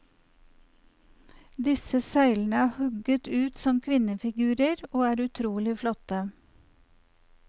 Disse søylene er hugget ut som kvinnefigurer og er utrolig flotte.